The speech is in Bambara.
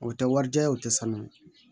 O tɛ wari diya ye o tɛ sanuya